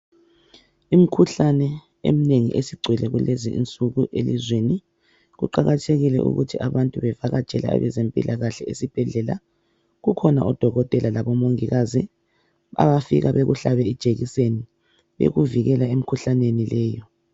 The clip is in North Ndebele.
Imikhuhlane eminengi esigcwele kulezinsuku elizweni kuqakathekile ukuthi abantu bevakatshele abezempilakahle esibhedlela .Kukhona oDokotela labo Mongikazi abafika bekuhlabe ijekiseni yokuvikela emikhuhlaneni leyi.